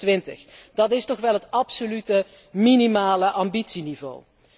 2020. Dat is toch wel het absolute minimale ambitieniveau.